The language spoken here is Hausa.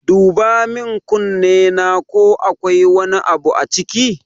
Duba min kunnena ko akwai wani abu a ciki